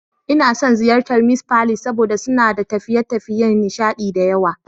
Ina son ziyartar Mee's Palace saboda suna da tafiye-tafiyen nishaɗi da yawa.